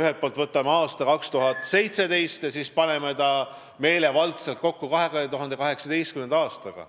ühelt poolt võtame aasta 2017 ja paneme selle siis meelevaldselt kokku 2018. aastaga.